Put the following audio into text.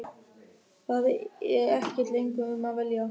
Það er ekkert lengur um að velja.